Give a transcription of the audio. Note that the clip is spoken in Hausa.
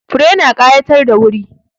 Fure na ƙayatar da wuri.